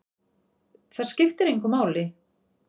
Það skiptir engu máli!